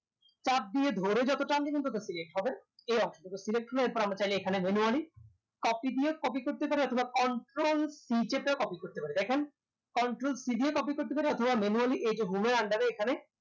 চাপ দিয়ে ধরে যত টান দিবেন ততো select হবে এই অংশটুকু select হলো এরপর আমরা চাইলে এখানে manually copy দিয়ে copy করতে পারি অথবা control c চেপে ও copy করতে পারি দেখেন control c দিয়ে copy করতে পারি অথবা manually এই যে home এর under এ এখানে